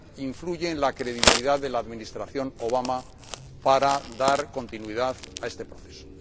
influye en la credibilidad de la administración Obama para dar continuidad a este proceso.